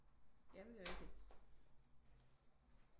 Jamen det er rigtigt